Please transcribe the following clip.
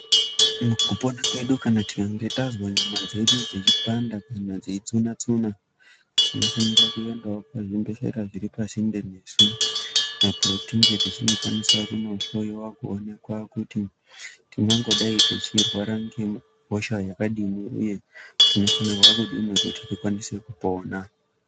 Mukupona kwedu kana tikange tazwe nyama dzedu dzeipanda kana dzeitsuna tsuna tinofanira kuendawo pazvibhedhleya zviri pasinde nesu apowo tinge tichindokwanisa kunohloyiwa kuonekwa kuti tingangodai techirwara ngehosha yakadini uye tinofanirwa kudini kuti tikwanise kupona.